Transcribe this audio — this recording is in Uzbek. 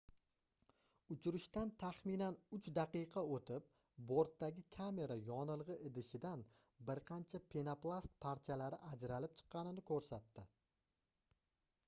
uchirishdan taxminan 3 daqiqa oʻtib bortdagi kamera yonilgʻi idishidan bir qancha penoplast parchalari ajralib chiqqanini koʻrsatdi